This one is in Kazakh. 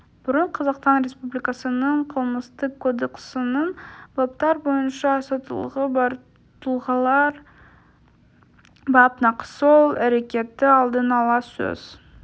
бұрын қазақстан республикасының қылмыстық кодексінің баптар бойынша соттылығы бар тұлғалар бап нақ сол әрекетті алдын-ала сөз